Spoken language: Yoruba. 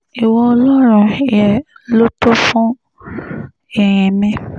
ìwọ ọlọ́run yẹ lóòóto fún ìyìn mi